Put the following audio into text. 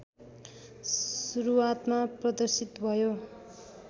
सुरुवातमा प्रदर्शित भयो